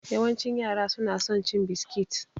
Yawancin yara su na son cin biskit.